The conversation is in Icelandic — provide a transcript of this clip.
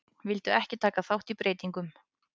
Vildu ekki taka þátt í breytingum